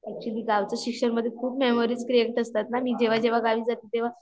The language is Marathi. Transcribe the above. ऍक्च्युली गावच शिक्षण मध्ये खूप मेमोरीज क्रिएट असतात ना, मी जेव्हा जेव्हा गावी जाते तेव्हा